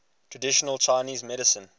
traditional chinese medicine